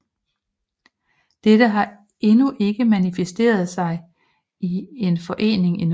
Dette har endnu ikke manifesteret sig i en forening endnu